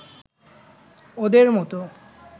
ওদের মত